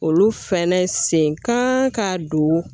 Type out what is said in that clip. Olu fɛnɛ sen kan ka don